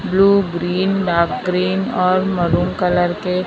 blue green dark green और maroon colour के--